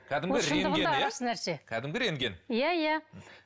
ол шындығында рас нәрсе кәдімгі рентген иә иә